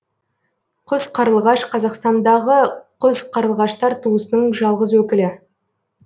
құз қарлығаш қазақстандандағы құз қарлығаштар туысының жалғыз өкілі